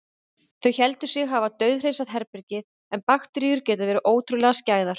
Þau héldu sig hafa dauðhreinsað herbergið- en bakteríur geta verið ótrúlega skæðar.